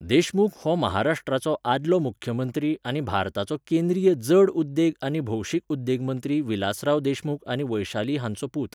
देशमुख हो महाराष्ट्राचो आदलो मुख्यमंत्री आनी भारताचो केंद्रीय जड उद्देग आनी भौशीक उद्देग मंत्री विलासराव देशमुख आनी वैशाली हांचो पूत.